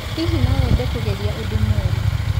Hihi nowende kũgerĩa ũdũ mwerũ?